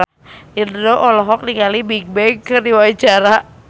Indro olohok ningali Bigbang keur diwawancara